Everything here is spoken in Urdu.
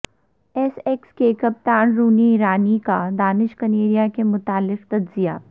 ایسیکس کے کپتان رونی ایرانی کا دانش کنیریا کے متعلق تجزیہ